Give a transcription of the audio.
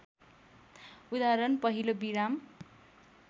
उदाहरण पहिलो विराम